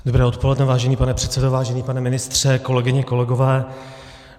Dobré odpoledne, vážený pane předsedo, vážený pane ministře, kolegyně, kolegové.